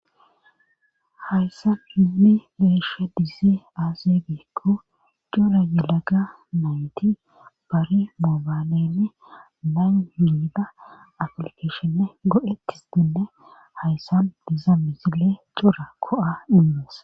Hayssa hinni leeshe dizee aase geekko cora yilaga nayti bari moobalenne banida aplikeshenne go7etis dinne hayssan diza misile cora ko7a inmees